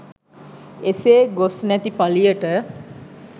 එසේ ගොස් නැති පලියට